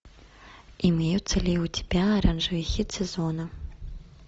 имеются ли у тебя оранжевый хит сезона